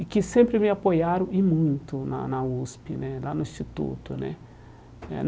E que sempre me apoiaram, e muito, na na USP né, lá no instituto né eh.